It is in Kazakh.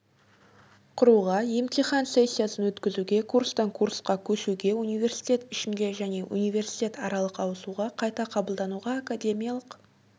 құруға емтихан сессиясын өткізуге курстан-курсқа көшуге университет ішінде және университет аралық ауысуға қайта қабылдануға академиялық